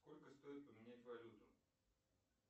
сколько стоит поменять валюту